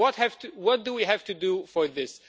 What do we have to do for this?